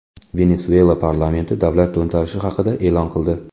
Venesuela parlamenti davlat to‘ntarishi haqida e’lon qildi.